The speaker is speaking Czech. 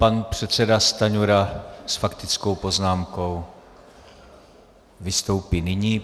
Pan předseda Stanjura s faktickou poznámkou vystoupí nyní.